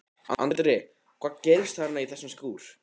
Andri: Hvað gerðist þarna í þessum skúr?